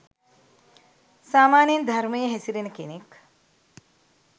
සාමාන්‍යයෙන් ධර්මයේ හැසිරෙන කෙනෙක්